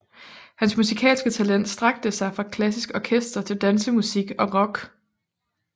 Hans musikalske talent strakte sig fra klassisk orkester til dansemusik og rock